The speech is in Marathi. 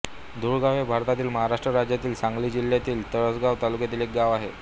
धुळगाव हे भारतातील महाराष्ट्र राज्यातील सांगली जिल्ह्यातील तासगांव तालुक्यातील एक गाव आहे